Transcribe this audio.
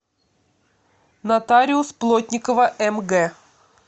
нотариус плотникова мг